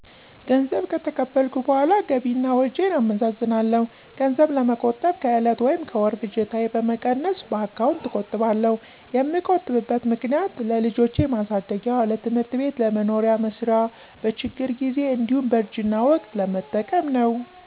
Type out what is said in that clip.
ገንዘብ ከተቀበልኩ በኃላ ገቢ እና ወጭን አመዛዝናለው። ገንዘብ ለመቆጠብ ከእለት ወይም ከወር ፍጆታየ በመቀነስ በአካውንት እቆጥባለው። የምቆጥብበት ምክኒያት ለልጆች ማሳደጊያ፣ ለትምህርት ቤት፣ ለመኖሪያ መስሪያ፣ በችግር ጊዜ እንዲሁ በእርጅና ወቅት ለመጠቀም ነው።